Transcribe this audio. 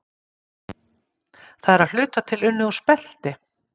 Það er að hluta til unnið úr spelti.